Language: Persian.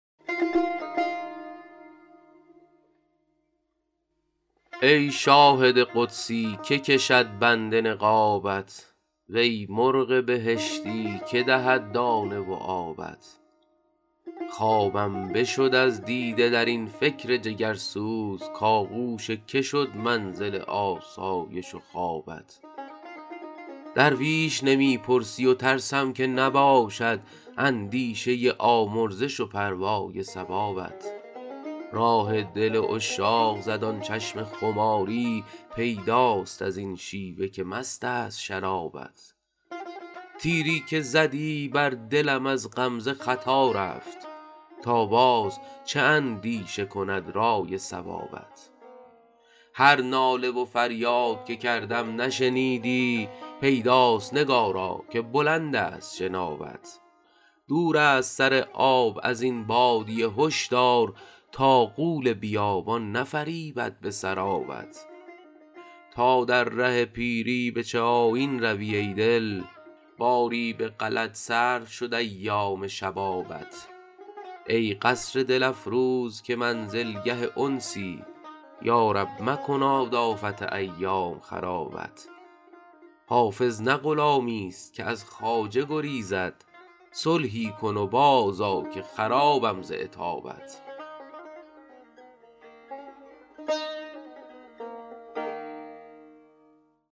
ای شاهد قدسی که کشد بند نقابت وی مرغ بهشتی که دهد دانه و آبت خوابم بشد از دیده در این فکر جگرسوز کآغوش که شد منزل آسایش و خوابت درویش نمی پرسی و ترسم که نباشد اندیشه آمرزش و پروای ثوابت راه دل عشاق زد آن چشم خماری پیداست از این شیوه که مست است شرابت تیری که زدی بر دلم از غمزه خطا رفت تا باز چه اندیشه کند رأی صوابت هر ناله و فریاد که کردم نشنیدی پیداست نگارا که بلند است جنابت دور است سر آب از این بادیه هشدار تا غول بیابان نفریبد به سرابت تا در ره پیری به چه آیین روی ای دل باری به غلط صرف شد ایام شبابت ای قصر دل افروز که منزلگه انسی یا رب مکناد آفت ایام خرابت حافظ نه غلامیست که از خواجه گریزد صلحی کن و بازآ که خرابم ز عتابت